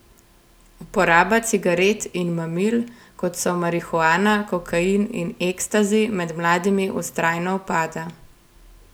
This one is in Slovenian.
Uporaba cigaret in mamil, kot so marihuana, kokain in ekstazi med mladimi vztrajno upada.